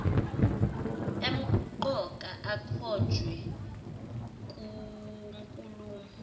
emqoka akhonjwe kunkulumo